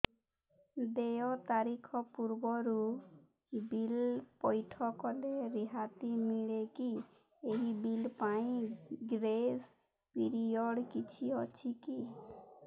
ଦେୟ ତାରିଖ ପୂର୍ବରୁ ବିଲ୍ ପୈଠ କଲେ ରିହାତି ମିଲେକି ଏହି ବିଲ୍ ପାଇଁ ଗ୍ରେସ୍ ପିରିୟଡ଼ କିଛି ଅଛିକି